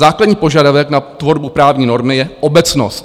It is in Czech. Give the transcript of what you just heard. Základní požadavek na tvorbu právní normy je obecnost.